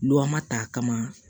ta a kama